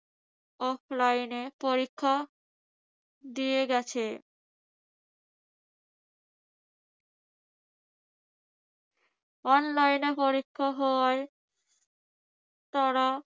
offline এ পরীক্ষা দিয়ে গেছে। online এ পরীক্ষা হওয়ায় তারা